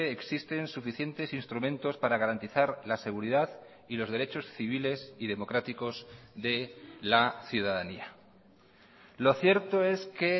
existen suficientes instrumentos para garantizar la seguridad y los derechos civiles y democráticos de la ciudadanía lo cierto es que